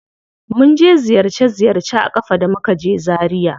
Mun je ziyarce ziyarce a ƙafa da muka je zaria.